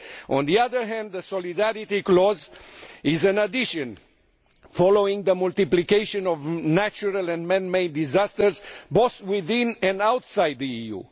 On the other hand, the solidarity clause is an addition following the multiplication of natural and man made disasters both within and outside the EU.